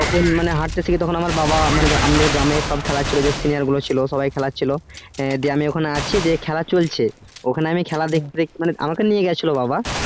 তখন আমি হাটতে শিখি তখন আমার বাবা মানে আমাদের গ্রামে সব খেলা চলছিলো যে senior গুলো ছিলো সবাই খেলাচ্ছিলো দিয়ে আমি ওখানে আছি দিয়ে খালে চলছে ওখানে আমি দেখতে দেখতে মানে আমাকে নিয়ে গেছিলো বাবা